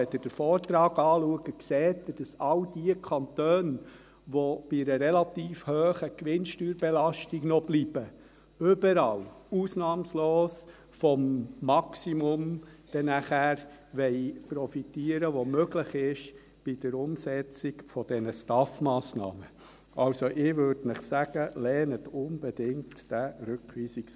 Wenn Sie den Vortrag anschauen, sehen Sie, dass überall, ausnahmslos, all diejenigen Kantone, welche noch bei einer relativ hohen Gewinnsteuerbelastung bleiben, dann bei der Umsetzung dieser STAF-Massnahmen vom Maximum profitieren wollen, das möglich ist.